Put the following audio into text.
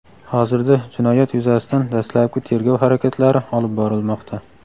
Hozirda jinoyat yuzasidan dastlabki tergov harakatlari olib borilmoqda.